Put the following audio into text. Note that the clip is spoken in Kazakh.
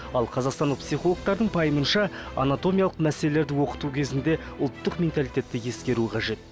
ал қазақстандық психологтардың пайымынша анатомиялық мәселелерді оқыту кезінде ұлттық менталитетті ескеру қажет